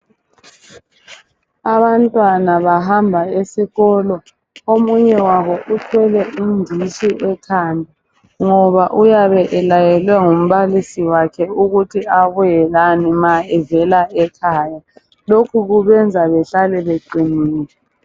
Abantwana bahamba esikolo omunye wabo uthwele inditshi ekhanda ngoba uyabe elayelwe ngumbalisi wakhe ukuthi ebuyela lani ma evela ekhaya lokho kubenza behlale beqinile.